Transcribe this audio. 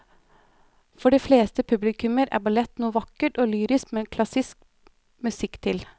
For de fleste publikummere er ballett noe vakkert og lyrisk med klassisk musikk til.